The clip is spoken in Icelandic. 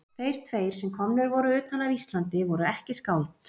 Þeir tveir sem komnir voru utan af Íslandi voru ekki skáld.